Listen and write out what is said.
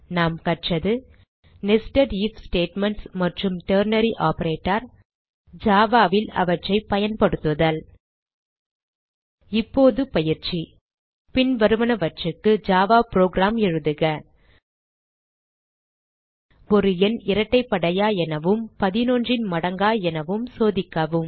நாம் கற்றது nested IF statements மற்றும் டெர்னரி ஆப்பரேட்டர் ஜாவா ல் அவற்றை பயன்படுத்துதல் இப்போது பயிற்சி 000822 00816023 பின்வருவனவற்றிற்கு ஜாவா புரோகிராம் எழுதுக 00816023 000828 ஒரு எண் இரட்டைப்படையா எனவும் 11 ன் மடங்கா எனவும் சோதிக்கவும்